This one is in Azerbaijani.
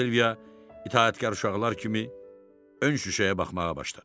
Silvia itaətkar uşaqlar kimi ön şüşəyə baxmağa başladı.